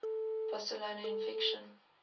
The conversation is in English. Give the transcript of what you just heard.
barcelona in fiction